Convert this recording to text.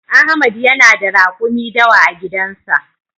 Ahmad yana da rakumi dawa a gidan sa.